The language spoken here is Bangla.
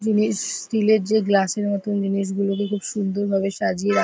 জিনিস স্টিলের যে গ্লাস -এর মতন জিনিসগুলোতে খুব সুন্দর ভাবে সাজিয়ে রা --